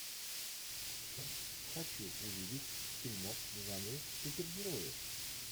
хочу увидеть фильмок в жанре супергерои